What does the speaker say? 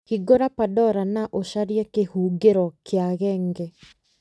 hingũra pandora na ũcarie kĩhũngĩro kĩa genge